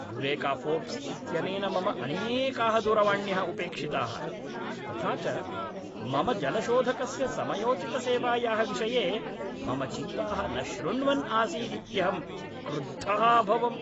Eureka Forbes इत्यनेन मम अनेकाः दूरवाण्यः उपेक्षिताः, तथा च मम जलशोधकस्य समयोचितसेवायाः विषये मम चिन्ताः न शृण्वन् आसीदित्यहं क्रुद्धः अभवम्।